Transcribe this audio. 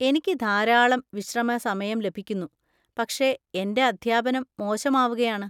എനിക്ക് ധാരാളം വിശ്രമസമയം ലഭിക്കുന്നു, പക്ഷേ എന്‍റെ അധ്യാപനം മോശമാവുകയാണ്.